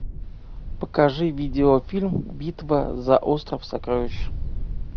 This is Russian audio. покажи видеофильм битва за остров сокровищ